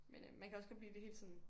Men øh man kan også godt blive helt sådan